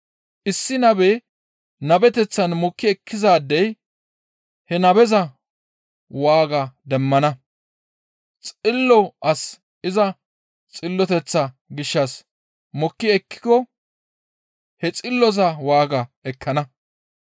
Issi nabe nabeteththan mokki ekkizaadey he nabeza waaga demmana. Xillo as iza xilloteththa gishshas mokki ekkiko he xilloza waaga ekkana.